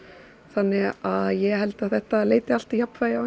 þannig að ég held að þetta leiti allt í jafnvægi á